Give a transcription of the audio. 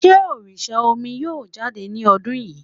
Sé òrìsà omi yóò jáde ni ọdún yìí?